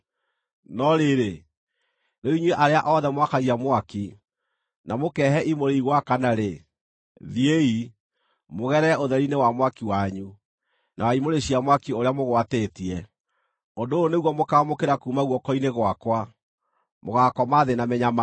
No rĩrĩ, rĩu inyuĩ arĩa othe mwakagia mwaki, na mũkeehe imũrĩ igwakana-rĩ, thiĩi, mũgerere ũtheri-inĩ wa mwaki wanyu, na wa imũrĩ cia mwaki ũrĩa mũgwatĩtie. Ũndũ ũyũ nĩguo mũkaamũkĩra kuuma guoko-inĩ gwakwa: Mũgaakoma thĩ na mĩnyamaro.